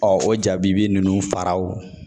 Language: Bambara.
o jabi ninnu faraw